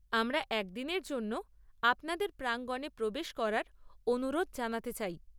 আমরা একদিনের জন্য আপনাদের প্রাঙ্গনে প্রবেশ করার অনুরোধ জানাতে চাই?